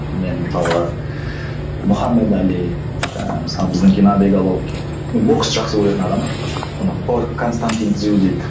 мен мысалға мұхаммед али жаңағы мысалы біздің геннадий головкин мен боксты жақсы көретін адаммын айтпақшы ана константин